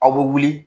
Aw bɛ wuli